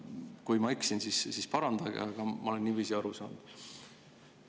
Kui ma eksin, siis parandage, aga ma olen niiviisi aru saanud.